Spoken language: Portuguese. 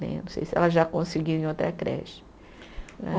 Né, não sei se ela já conseguiu em outra creche né.